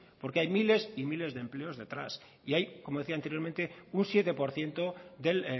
porque hay miles y miles de empleos detrás y hay como decía anteriormente un siete por ciento del